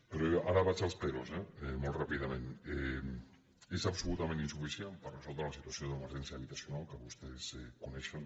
però ara vaig als peròs eh molt ràpidament és absolutament insuficient per resoldre la situació d’emergència habitacional que vostès coneixen